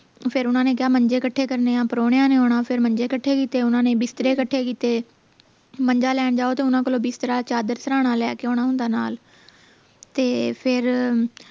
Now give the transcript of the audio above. ਫੇਰ ਓਹਨਾ ਨੇ ਕਿਹਾ ਮੰਜੇ ਕੱਠੇ ਕਰਨੇ ਆ ਪ੍ਰੋਹਣਿਆ ਨੇ ਆਉਣਾ ਫੇਰ ਮੰਜੇ ਕੱਠੇ ਕੀਤੇ ਓਹਨਾ ਨੇ ਬਿਸਤਰੇ ਕੱਠੇ ਕੀਤੇ ਮੰਜਾ ਲੈਣ ਜਾਓ ਤਾਂ ਓਹਨਾ ਕੋਲੋਂ ਬਿਸਤਰਾ ਚਾਦਰ ਸਿਰਹਾਣਾ ਲੈ ਕੇ ਆਉਣਾ ਹੁੰਦਾ ਨਾਲ ਤੇ ਫੇਰ